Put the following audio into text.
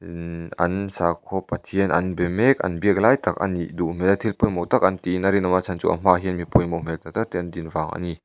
immh an sahkhaw pathian an be mek an biak lai tak a nih duh hmel thil pawimawh tak an tiin a rinawm chhan chu a hmaah hian pawimawh hmel tak tak te an din vang a ni.